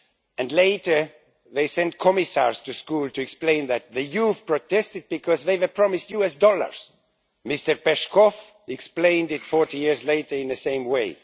And later they sent commissars to school to explain that the youth had protested because they were promised US dollars. Mr Peshkov explained it 40 years later in the same way.